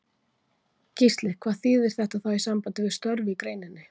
Gísli: Hvað þýðir þetta þá í sambandi við störf í greininni?